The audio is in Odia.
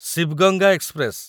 ଶିଭ୍ ଗଙ୍ଗା ଏକ୍ସପ୍ରେସ